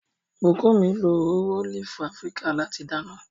Bukunmi lo òróró ólífì Afíríkà láti dáná.